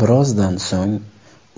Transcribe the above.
Birozdan so‘ng